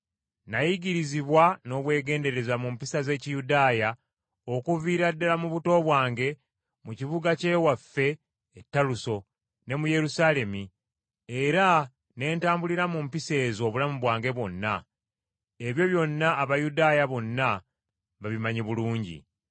“Nayigirizibwa n’obwegendereza mu mpisa z’Ekiyudaaya okuviira ddala mu buto bwange mu kibuga ky’ewaffe e Taluso ne mu Yerusaalemi, era ne ntambulira mu mpisa ezo obulamu bwange bwonna. Ebyo byonna Abayudaaya bonna babimanyi bulungi.